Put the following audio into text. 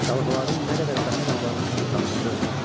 Dalğaların nə qədər vətən övladının qanına boyanıb.